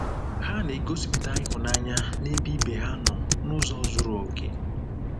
Ha na-egosipụta ịhụnanya n'ebe ibe ha nọ n'ụzọ zuru okè.